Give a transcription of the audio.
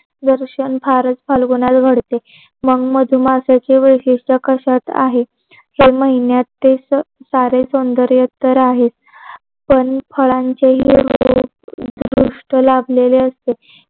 दर्शन फारच फाल्गुनात घडते मग मधुमासाचे वैशिष्ट्य कशात आहे तर महिन्यात ते सारे सौंदर्य उत्तर आहे. पण फळांचे हि पृष्ठ लाभलेले असते.